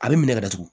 A bɛ minɛ ka datugu